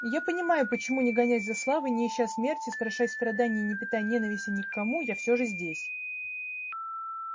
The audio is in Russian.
и я понимаю почему не гонясь за славой не ища смерти страшась страданий и не питая ненависти ни к кому я всё же здесь